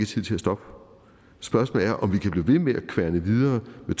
tid til at stoppe spørgsmålet er om vi kan blive ved med at kværne videre med